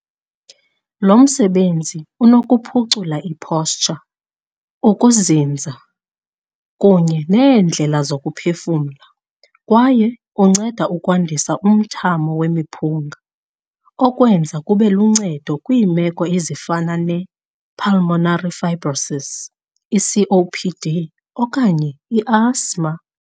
Lo msebenzi unokuphucula i-posture, ukuzinza kunye neendlela zokuphefumla, kwaye unceda ukwandisa umthamo wemiphunga, okwenza kube luncedo kwiimeko ezifana ne-pulmonary fibrosis, i-COPD okanye i-asthma.